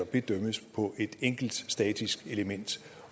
bedømmes på et enkelt statisk element